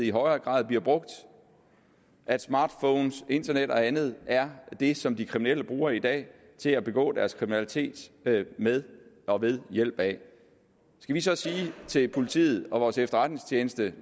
i højere grad bliver brugt at smartphones internet og andet er det som de kriminelle bruger i dag til at begå deres kriminalitet med og ved hjælp af skal vi så sige til politiet og vores efterretningstjeneste